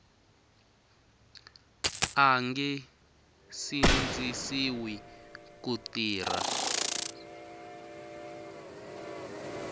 a nge sindzisiwi ku tirha